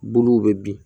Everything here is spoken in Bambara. Buluw bɛ bin